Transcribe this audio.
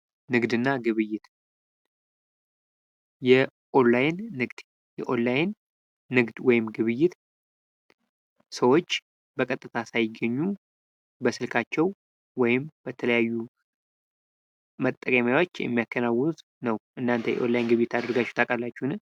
ንግድ እና ግብይት የኦንላይን ንግድ የኦንላይን ንግድ ወይም ግብይት ሰዎች በቀጥታ ሳይገኙ በስልካቸው ወይም በተለያዩ መጠቀሚያዎች የሚያከናውኑት ነው። እናንተ የኦንላይን ግብይት አድርጋችሁ ታውቃላችሁ?